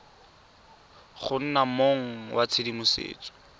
go nna mong wa tshedimosetso